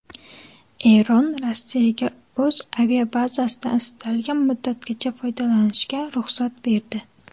Eron Rossiyaga o‘z aviabazasidan istalgan muddatgacha foydalanishga ruxsat berdi.